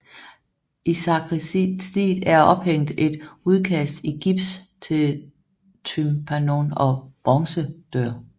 I sakristiet er ophængt et udkast i gips til tympanon og bronzedør